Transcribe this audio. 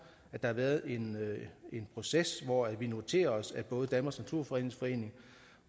der har været en proces hvor vi noterede os at både danmarks naturfredningsforening